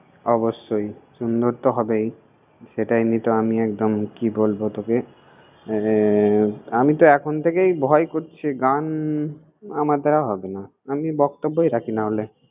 অবশ্যই, সুন্দর তো হবেই। সেটা এমনিতেও আমি একদম কি বলব তোকে। এর আমি তো এখন থেকেই ভয় করছে গান আমার দ্বারা হবে না, আমি বক্তব্যই রাখি নাহলে।